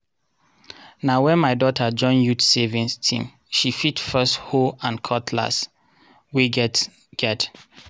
na wen my daughter join youth savings team she fit first hoe and cutless wey get get.